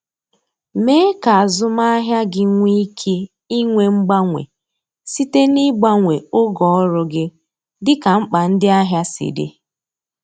Mee ka azụmahịa gị nwee ike inwe mgbanwe site n’ịgbanwe oge ọrụ gị dịka mkpa ndị ahịa si dị.